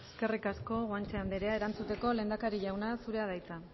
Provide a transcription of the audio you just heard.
eskerrik asko guanche andrea erantzuteko lehendakari jauna zurea da hitza